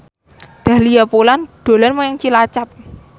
Dahlia Poland dolan menyang Cilacap